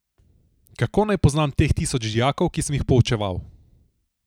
Kako naj poznam teh tisoč dijakov, ki sem jih poučeval?